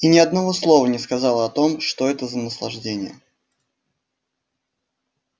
и ни одного слова не сказала о том что это за наслаждение